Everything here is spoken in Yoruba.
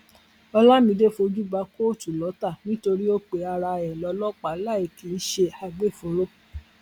olamide fojú bá kóòtù lọtà nítorí ó pe ara ẹ lọlọpàá láì kì í ṣe agbófinró